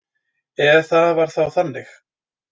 Ef það var þá þannig.